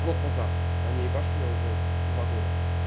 год назад они ебашали я уже два года